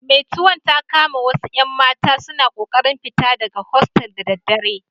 Meturon ta kama wasu 'yan mata suna kokarin fita daga hostel da daddare.